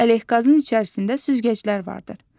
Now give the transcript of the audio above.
Ələqazın içərisində süzgəclər vardır.